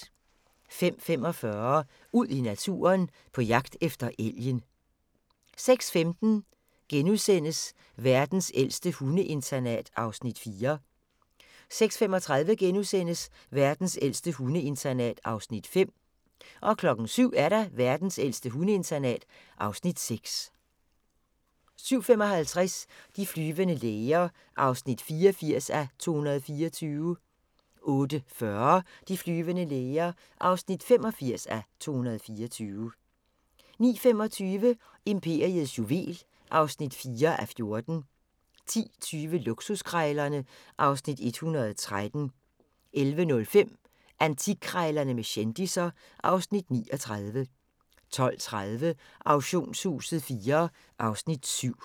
05:45: Ud i naturen: På jagt efter elgen 06:15: Verdens ældste hundeinternat (Afs. 4)* 06:35: Verdens ældste hundeinternat (Afs. 5)* 07:00: Verdens ældste hundeinternat (Afs. 6) 07:55: De flyvende læger (84:224) 08:40: De flyvende læger (85:224) 09:25: Imperiets juvel (4:14) 10:20: Luksuskrejlerne (Afs. 113) 11:05: Antikkrejlerne med kendisser (Afs. 39) 12:30: Auktionshuset IV (Afs. 7)